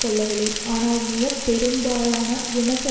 அந்த படுகொலைகளுக்கு எவரும் பொறுப்பேற்றுக்கொள்ளவில்லை ஆனால்